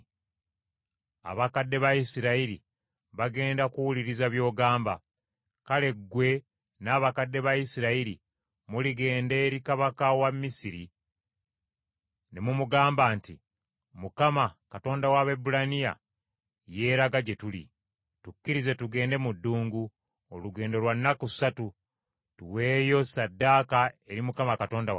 “Abakadde ba Isirayiri bagenda kuwuliriza by’ogamba. Kale, ggwe n’abakadde ba Isirayiri muligenda eri kabaka wa Misiri ne mumugamba nti, ‘ Mukama , Katonda w’Abaebbulaniya yeeraga gye tuli. Tukkirize tugende mu ddungu, olugendo lwa nnaku ssatu, tuweeyo ssaddaaka eri Mukama Katonda waffe.’